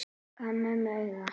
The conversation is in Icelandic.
Gaf mömmu auga.